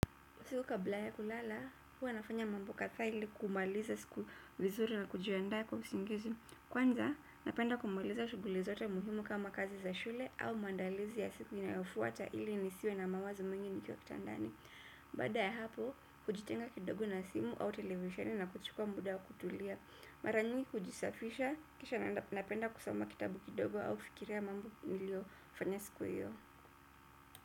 Siku kabla ya kulala, huwa nafanya mambo katha ili kumaliza siku vizuri na kujianda kwa usingizi. Kwanza, napenda kumaliza shuguli zote muhimu kama kazi za shule au mandalizi ya siku inayofuata ili nisiwe na mawazo mwingi nikiwa kitandani. Baada ya hapo, hujitenga kidogo na simu au televisioni na kuchukua muda wa kutulia. Mara nyingi hujisafisha, kisha napenda kusoma kitabu kidogo au fikiria mambo nilio fanya siku hiyo.